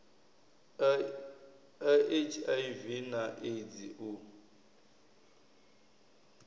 a hiv na eidzi u